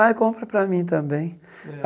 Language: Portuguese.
Ah, compra para mim também.